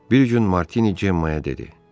Bir gün Martini Cemmaya dedi: